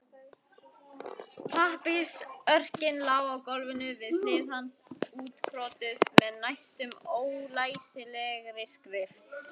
Pappírsörkin lá á gólfinu við hlið hans útkrotuð með næstum ólæsilegri skrift.